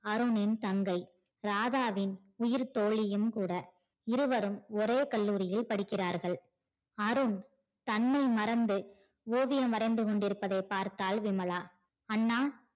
அருணின் தங்கை ராதாவின் உயிர் தோழியும் கூட இருவரும் ஒரே கல்லூரியில் படிக்கிறார்கள் அருண் தன்னை மறந்து ஓவியம் வரைந்து கொண்டிருப்பதை பார்த்தால் விமலா அண்ணா